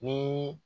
Ni